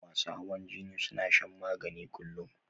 Masu hawan jini suna shan magani kullum